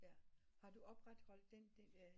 Jaer har du opret den del af